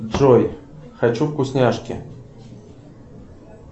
джой хочу вкусняшки